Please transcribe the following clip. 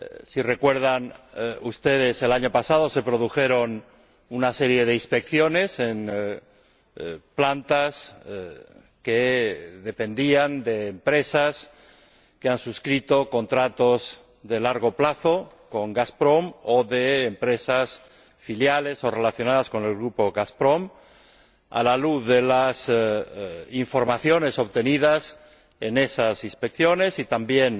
Si recuerdan ustedes, el año pasado se llevaron a cabo una serie de inspecciones en plantas que dependían de empresas que han suscrito contratos de largo plazo con Gazprom, o de empresas filiales o relacionadas con el grupo Gazprom. A la luz de las informaciones obtenidas en esas inspecciones, y también